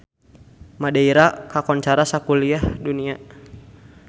Madeira kakoncara sakuliah dunya